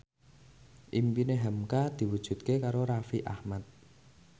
impine hamka diwujudke karo Raffi Ahmad